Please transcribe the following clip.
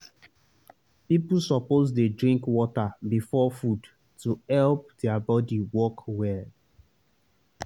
people suppose dey drink water before food to help their body work well.